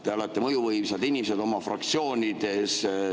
Te olete mõjuvõimsad inimesed oma fraktsioonides.